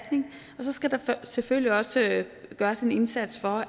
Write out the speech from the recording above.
selvfølgelig så også gøres en indsats for